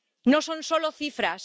No son solo cifras.